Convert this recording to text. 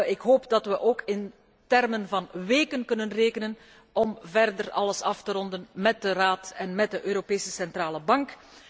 Ik hoop dat wij ook in termen van weken kunnen rekenen om verder alles af te ronden met de Raad en met de Europese Centrale Bank.